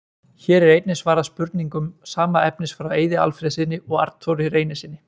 Hér er einnig svarað spurningum sama efnis frá Eiði Alfreðssyni og Arnþóri Reynissyni.